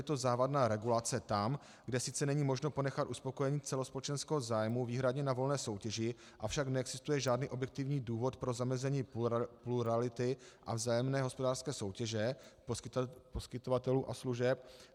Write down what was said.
Je to závadná regulace tam, kde sice není možno ponechat uspokojení celospolečenského zájmu výhradně na volné soutěži, avšak neexistuje žádný objektivní důvod pro zamezení plurality a vzájemné hospodářské soutěže poskytovatelů a služeb.